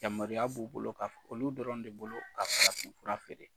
Yamaruya b'u bolo ka f olu dɔrɔn de bolo ka farafinfura feere.